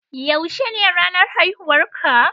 Yaushe ne ranar haihuwar ka?